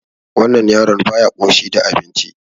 Wannan yaron baya ƙoshi da abinci.